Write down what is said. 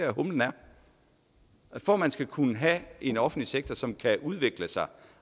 for at man skal kunne have en offentlig sektor som kan udvikle sig